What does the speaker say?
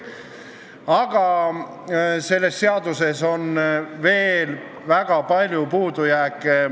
Aga selles seaduses on veel väga palju puudujääke.